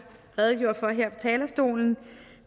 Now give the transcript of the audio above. redegjorde for her på talerstolen